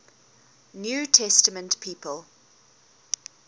new testament people